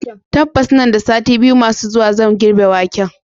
tabbas nan da sati biyu masu zuwa zan girbe waken.